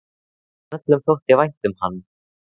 En öllum þótti vænt um hann.